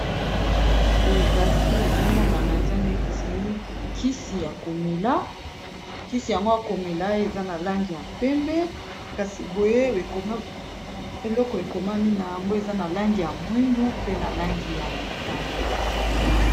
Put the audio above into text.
Boye kasi ezomonana eza neti kisi ya komela, kisi yango ya komela eza na langi ya pembe, kasi boye eloko ekomami na yango eza na langi ya mwindu, pe na langi ya motane.